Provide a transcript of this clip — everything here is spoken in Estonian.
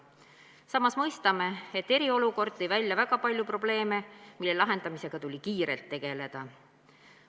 Samas mõistame, et eriolukord tõi välja väga palju probleeme, mille lahendamisega tuli kiirelt tegeleda.